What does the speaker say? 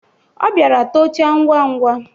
Ọ bịara tocha ngwa ngwa.